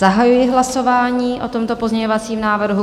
Zahajuji hlasování o tomto pozměňovacím návrhu.